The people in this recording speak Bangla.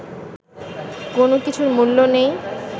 কোনো কিছুর মূল্য নেই